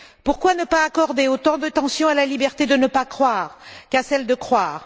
Pourquoi ne pas accorder autant d'attention à la liberté de ne pas croire qu'à celle de croire?